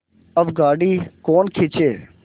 अब गाड़ी कौन खींचे